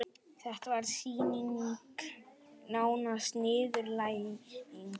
Þetta var sýning, nánast niðurlæging.